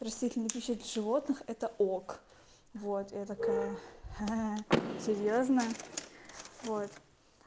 растительной пищи для животных это ок вот я такая ха-ха серьёзно вот